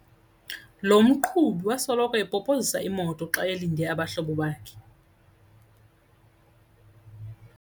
Lo mqhubi wasoloko epopozisa imoto xa elinde abahlobo bakhe.